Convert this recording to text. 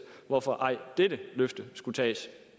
hvorfor dette løfte ej skulle tages